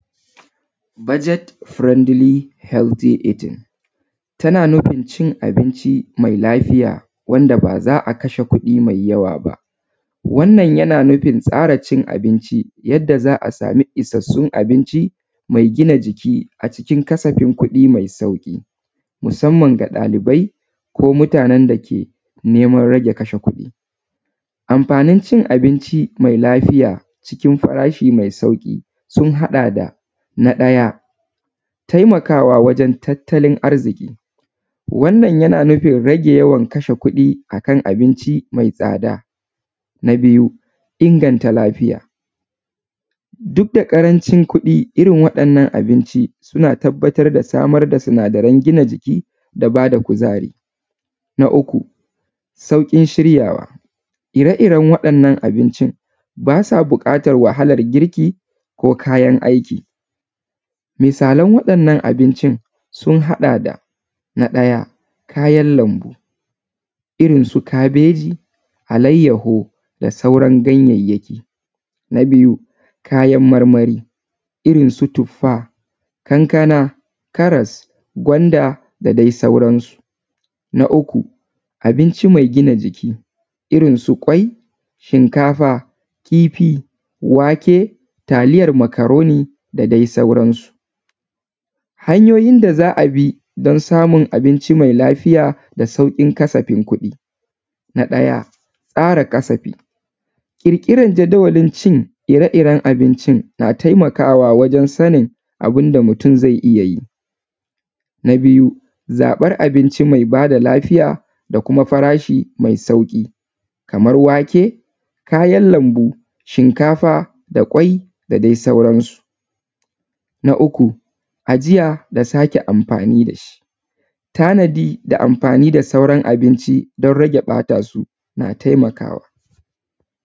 Budget friendly healthy eating tana nufin cin abinci mai lafiya, wanda ba za a kashe kuɗi mai yawa ba. Wannan yana nufin tsara cin abinci, yadda za a samu isassun abinci mai gina jiki a cikin kasafin kuɗi mai sauƙi, musamman ga ɗalibai ko mutanen da ke neman rage kashe kuɗi. Amfanin cin abinci mai lafiya cikin farashi mai sauƙi sun haɗa da: na ɗaya, tamakawa wajen tattalin arziƙi. Wannan yana nufin rage yawan kashe kuɗi a kan abinci mai tsada. Na biyu, inganta lafiya, duk da ƙarancin kuɗi, irin waɗannan abinci suna tabbatar da samar da sinadaran gina jiki da ba da kuzari. Na uku, sauƙin shiryawa, ire-iren waɗannan abincin ba sa buƙatar wahalar girki, ko kayan aiki. Misalan waɗannan abincin sun haɗa da: na ɗaya, kayan lambu irin su kabeji, alayyaho da sauran ganyayyaki. Na biyu, kayan marmari irin su tuffa, kankana, karas, gwanda da dai sauransu. Na uku, abinci mai gina jiki, irin su ƙwai, shinkafa, kifi, wake, taliyar macaroni da dai sauransu. Hanyoyi da za a bi don samun abinci mai lafiya da sauƙin kasafin kuɗi: na ɗaya, tsara kasafi, ƙirƙirar jadawalin cin ire-iren abincin na taimakawa wajen sanin abin da mutum zai iya yi. Na biyu, zaɓar abinci mai lafiya da kuma farashi mai sauƙi, kamar wake, kayan lambu, shinkafa da ƙwai da dai sauransu. Na uku, ajiya da sake amfani da shi, tanadi da amfani da sauran abinci don rage ɓata su na taimakawa.